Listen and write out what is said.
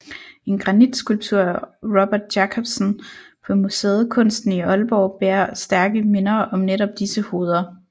En granitskulptur af Robert Jacobsen på museet Kunsten i Aalborg bærer stærke minder om netop disse hoveder